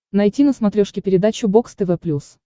найти на смотрешке передачу бокс тв плюс